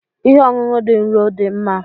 Ihe ọṅụṅụ dị nro dị mma?